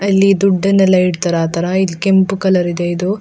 ಅಲ್ಲಿ ದುಡ್ಡನ್ನೆಲ್ಲ ಇಡ್ತಾರೆ ಆತರ ಕೆಂಪು ಕಲರ್ ಇದೆ ಇದು.